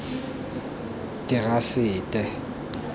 terasete